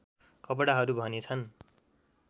कपडाहरू भने छन्